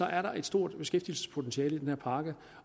er der et stort beskæftigelsespotentiale i den her pakke